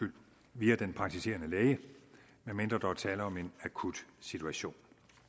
via den praktiserende læge medmindre der er tale om en akut situation